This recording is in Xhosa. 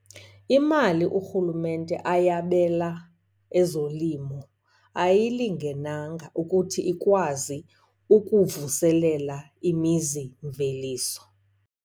Imali urhulumente ayabela ezolimo ayilingenanga ukuthi ikwazi ukuvuselela imizimveliso.